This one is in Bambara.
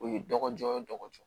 O ye dɔgɔ jɔ o dɔgɔ